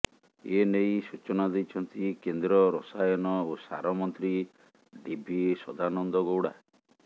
ଏନେଇ ସୂଚନା ଦେଇଛନ୍ତି କେନ୍ଦ୍ର ରସାୟନ ଓ ସାର ମନ୍ତ୍ରୀ ଡିଭି ସଦାନନ୍ଦ ଗୌଡ଼ା